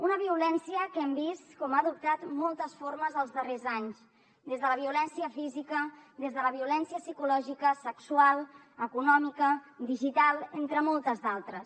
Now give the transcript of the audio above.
una violència que hem vist com ha adoptat moltes formes els darrers anys des de la violència física des de la violència psicològica sexual econòmica digital entre moltes altres